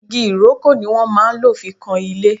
Igi Ìrókò ni wọ́n máa lò fi kan ilé